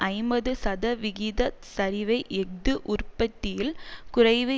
ஐம்பது சதவிகிதச் சரிவை எஃகு உற்பத்தியில் குறைவு